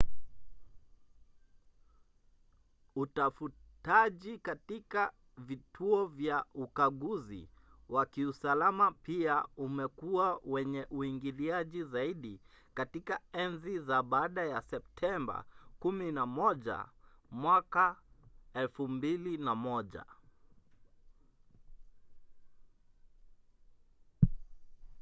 utafutaji katika vituo vya ukaguzi wa kiusalama pia umekuwa wenye uingiliaji zaidi katika enzi za baada ya septemba 11 2001